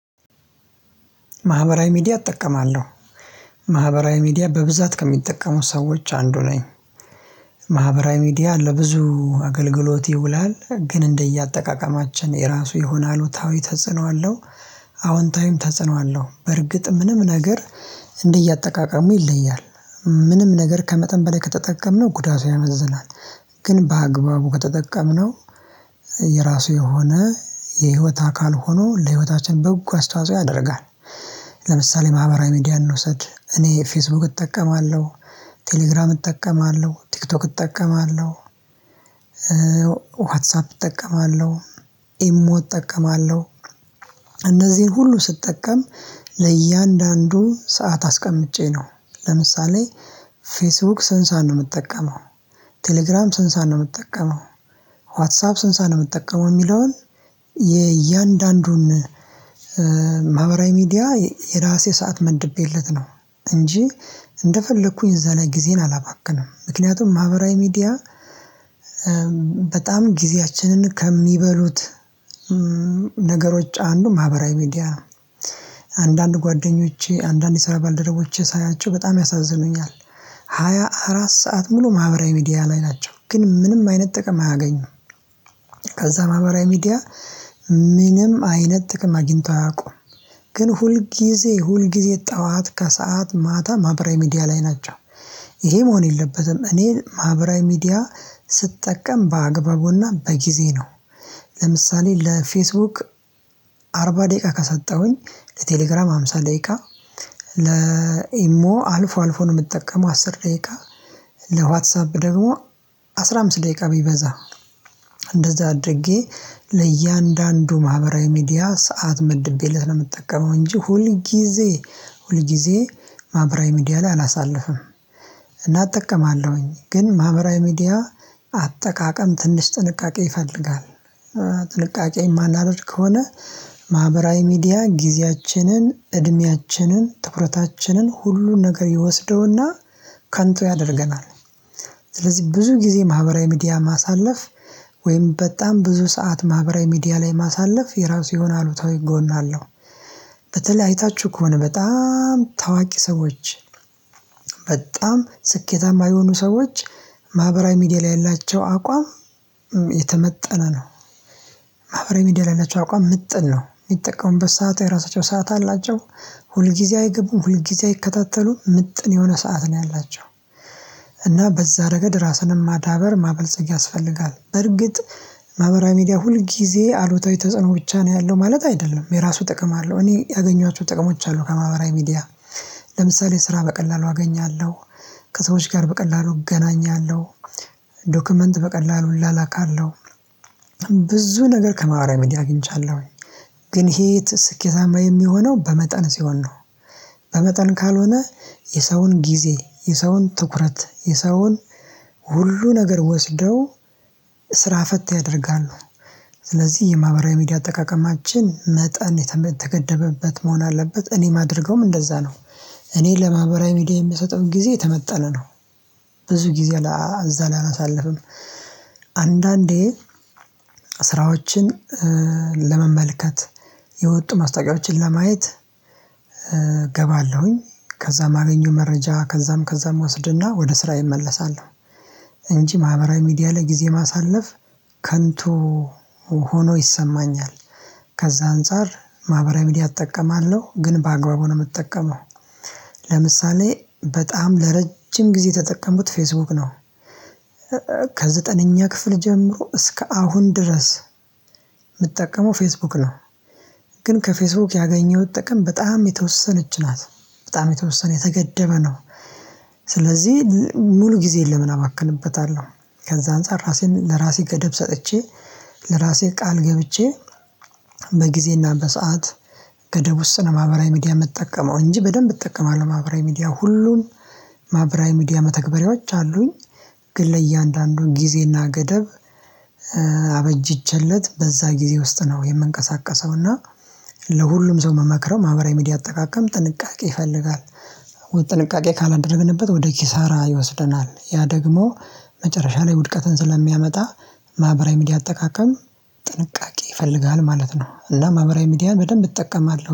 ማህበራዊ ሚዲያ እጠቀማለሁ ማህበራዊ ሚዲያ በብዛት ከሚጠቀሙ ሰዎች አንዱ ነኝ። ማህበራዊ ሚዲያ ለብዙ አገልግሎት ይውላል ግን እንደየአጠቃቀማችን የራሱ የሆነ አሉታዊ ተጽዕኖ አለው። አዎንታዊም ተጽዕኖ አለው በርግጥ ምንም ነገር እንደየአጠቃቀሙ ይለያል። ምንም ነገር ከመጠን በላይ ከተጠቀምነው ጉዳቱ ያመዝናል። ግን በአግባቡ ከተጠቀምነው የራሱ የሆነ የህይወት አካል ሆኖ ለህይወታችን በጎ አስተዋጽኦ ያደርጋል። ለምሳሌ ማህበራዊ ሚዲያ እንውሰድ እኔ ፌስቡክ እጠቀማለሁ። ቴሌግራም እጠቀማለሁ ቲክቶክ እጠቀማለሁ። ዋትሳፕ እጠቀማለሁ። ኢሞ እጠቀማለሁ። እነዚህን ሁሉ ስጠቀም ለእያንዳንዱ ሰዓት አስቀምጬ ነው። ለምሳሌ ፌስቡክ ስንት ሰዓት ነው የምጠቀመው? ቴሌግራም ስንት ሰዓት ነው የምጠቀመው? ዋትሳብ ስንት ሰዓት ነው የምትጠቀመው የሚለውን። የእያንዳንዱን ማህበራዊ ሚዲያ የራሴ ሰዓት መድቤለት ነው። እንጂ እንደፈለኩኝ እዛ ላይ ጊዜን አላባክንም። ምክንያቱም ማህበራዊ ሚዲያ በጣም ጊዜያችንን ከሚበሉት ነገሮች አንዱ ማህበራዊ ሚዲያ። አንዳንድ ጓደኞቼ አንዳንድ የሰራ ባልደረቦቼ ሳያቸው በጣም ያሳዝኑኛል። ሃያ አራት ሰዓት ሙሉ ማህበራዊ ሚዲያ ላይ ናቸው ግን ምንም አይነት ጥቅም አያገኙም። ከዛ ማህበራዊ ሚዲያ ምንም አይነት ጥቅም አግኝተው አያውቁም። ግን ሁልጊዜ ሁልጊዜ ጠዋት ከሰአት ማታ ማህበራዊ ሚዲያ ላይ ናቸው። ይሄ መሆን የለበትም። እኔ ማህበራዊ ሚዲያ ስጠቀም በአግባቡና በጊዜ ነው። ለምሳሌ ለፌስቡክ አርባ ደቂቃ ከሰጠሁኝ ለቴሌግራም አምሳ ደቂቃ ለኢሞ አልፎ አልፎ ነው የምትጠቀመው አስር ደቂቃ። ለዋትሳፕ ደግሞ አስራ አምስት ደቂቃ ቢበዛ። እንደዛ አድርጌ ለእያንዳንዱ ማህበራዊ ሚዲያ ሰዓት መድቤለት ነው የምጠቀመው እንጂ ሁል ጊዜ ሁል ጊዜ ማህበራዊ ሚዲያ ላይ አላሳልፍም። እናጠቀማለሁኝ ግን ማህበራዊ ሚዲያ አጠቃቀም ትንሽ ጥንቃቄ ይፈልጋል። ጥንቃቄ የማላደርግ ከሆነ ማህበራዊ ሚዲያ ጊዜያችንን እድሜያችንን ትኩረታችንን ሁሉ ነገር ይወስደውና ከንቱ ያደርገናል። ስለዚህ ብዙ ጊዜ ማህበራዊ ሚዲያ ማሳለፍ ወይም በጣም ብዙ ሰዓት ማህበራዊ ሚዲያ ላይ ማሳለፍ የራሱ ይሆነ አሉታዊ ጎን አለው። በተለይ አይታችሁ ከሆነ በጣም ታዋቂ ሰዎች በጣም ስኬታማ የሆኑ ሰዎች ማህበራዊ ሚዲያ ላይ ያላቸው አቋም የተመጠነ ነው። ማህበራዊ ሚዲያ ያላቸው አቋም ምጥን ነው የሚጠቀሙበት ሰዓት የራሳቸው ሰዓት አላቸው። ሁልጊዜ አይገቡም ሁልጊዜ አይከታተሉም ምጥን የሆነ ሰዓት ነው ያላቸው። እና በዛ ረገድ ራስንም ማዳበር ማበልጸግ ያስፈልጋል በእርግጥ ማህበራዊ ሚዲያ ሁል ጊዜ አሉታዊ ተጽዕኖ ብቻ ነው ያለው ማለት አይደለም የራሱ ጥቅም አለው እኔ ያገኟቸው ጥቅሞች አሉ ከማህበራዊ ሚዲያ ለምሳሌ ስራ በቀላሉ አገኛለሁ። ከሰዎች ጋር በቀላሉ እገናኛለሁ። ዶክመንት በቀላሉ እላላካለሁ። ብዙ ነገር ከማህበራዊ ሚዲያ አግኝቻለሁ። ግን ይሄ ስኬታማ የሚሆነው በመጠን ሲሆን ነው። በመጠን ካልሆነ የሰውን ጊዜ የሰውን ትኩረት የሰውን ሁሉ ነገር ወስደው ስራ ፈት ያደርጋሉ። ስለዚህ የማህበራዊ ሚዲያ አጠቃቀማችን መጠን የተገደበበት መሆን አለበት እኔ የማደርገዉም እንደዛ ነው። እኔ ለማህበራዊ ሚዲያ የምሰጠው ጊዜ የተመጠነ ነው። ብዙ ጊዜ እዛ ላይ አላሳልፍም። አንዳንዴ ስራዎችን ለመመልከት የወጡ ማስታወቂያዎችን ለማየት እገባለሁኝ ከዛ የማገኘውን መረጃ ከዛም ከዛም እወስድና ወደ ስራ እመለሳለሁ። እንጂ ማህበራዊ ሚዲያ ላይ ጊዜ ማሳለፍ ከንቱ ሆኖ ይሰማኛል። ከዛ አንፃር ማህበራዊ ሚዲያ እጠቀማለሁ ግን በአግባቡ ነው የምጠቀመው። ለምሳሌ በጣም ለረጅም ጊዜ የተጠቀምኩት ፌስቡክ ነው። ከዘጠነኛ ክፍል ጀምሮ እስከ አሁን ድረስ የምትጠቀመው ፌስቡክ ነው? ግን ከፌስቡክ ያገኘሁት ጥቅም በጣም የተወሰነች ናት በጣም የተወሰነ የተገደበ ነው። ስለዚህ ሙሉ ጊዜን ለምን አባክንበታለሁ? ከዛ አንፃር ራሴን ለራሴ ገደብ ሰጥቼ ለራሴ ቃል ገብቼ በጊዜና በሰአት ገደብ ውስጥ ለማህበራዊ ሚዲያ የምጠቀመው እንጂ በደንብ እጠቀማለሁ ማህበራዊ ሚዲያ ሁሉም ማህበራዊ ሚዲያ መተግበሪያዎች አሉኝ። ግን ለእያንዳንዱ ጊዜና ገደብ አበጅቼለት በዛ ጊዜ ውስጥ ነው የምንቀሳቀሰው እና ለሁሉም ሰው ምመክረው ማህበራዊ ሚዲያ አጠቃቀም ጥንቃቄ ይፈልጋል። ጥንቃቄ ካላደረግንበት ወደ ኪሳራ ይወስደናል። ያ ደግሞ መጨረሻ ላይ ውድቀትን ስለሚያመጣ ማህበራዊ ሚዲያ አጠቃቀም ጥንቃቄ ይፈልጋል ማለት ነው። እና ማህበራዊ ሚዲያን በደንብ እጠቀማለሁ